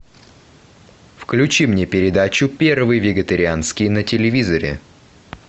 включи мне передачу первый вегетарианский на телевизоре